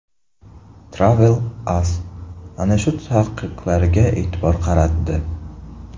TravelAsk ana shu taqiqlarga e’tibor qaratdi .